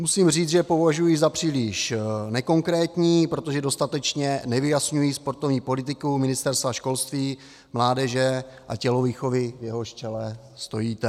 Musím říct, že je považuji za příliš nekonkrétní, protože dostatečně nevyjasňují sportovní politiku Ministerstva školství, mládeže a tělovýchovy, v jehož čele stojíte.